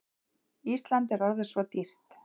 Ísland er orðið svo dýrt.